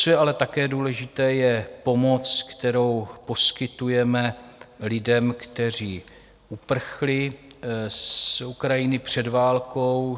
Co je ale také důležité, je pomoc, kterou poskytujeme lidem, kteří uprchli z Ukrajiny před válkou.